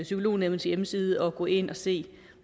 psykolognævnets hjemmeside at gå ind og se